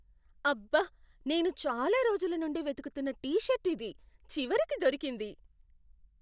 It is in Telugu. అబ్బ! నేను చాలా రోజుల నుండి వెతుకుతున్న టీ షర్ట్ ఇది. చివరికి దొరికింది.